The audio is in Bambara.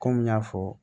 Kɔmi n y'a fɔ